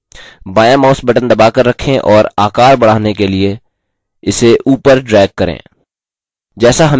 बायाँ mouse button दबाकर रखें और आकार बढ़ाने के लिए इसे upward drag करें